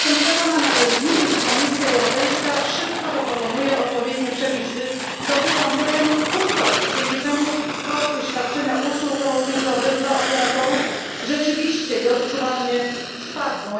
Jestem przekonana, że z nim Komisja Europejska szybko zaproponuje odpowiednie przepisy dotyczące cen hurtowych, dzięki czemu koszty świadczenia usług roamingowych dla operatorów rzeczywiście i odczuwalnie spadną.